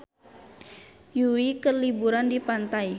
Yui keur liburan di pantai